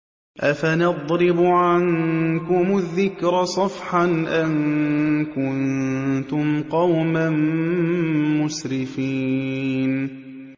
أَفَنَضْرِبُ عَنكُمُ الذِّكْرَ صَفْحًا أَن كُنتُمْ قَوْمًا مُّسْرِفِينَ